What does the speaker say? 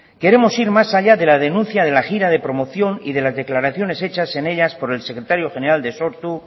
queremos ir más allá de la denuncia de la gira de promoción y de las declaraciones hechas en ellas por el secretario general de sortu